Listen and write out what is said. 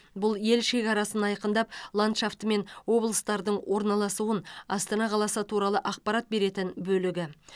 бұл ел шекарасын айқындап ландшафты мен облыстардың орналасуын астана қаласы туралы ақпарат беретін бөлігі